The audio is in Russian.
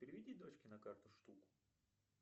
переведи дочке на карту штуку